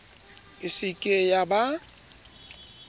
e se ke ya ba